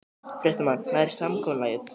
Fréttamaður: Nær samkomulagið?